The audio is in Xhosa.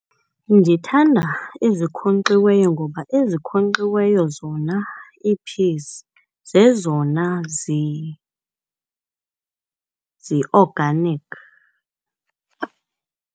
Ndithanda ezikhonkxiweyo ngoba ezikhonkxiweyo zona ii-peas zezona zi-organic.